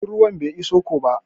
Jirgin ruwan ba iso ko ba.